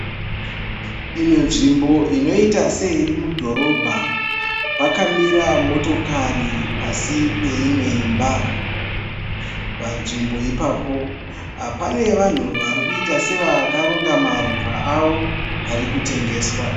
Imwe nzvimbo inoita seiri mudhorobha, pakamira motokari pasi peimwe imba. Panzvimbo ipapo pane vanhu varikuita sevakaronga maruva avo ari kutengeswa.